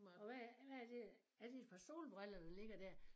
Og hvad er hvad er det er det et par solbriller der ligger dér